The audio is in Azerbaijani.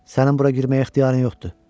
Sənin bura girməyə ixtiyarın yoxdur.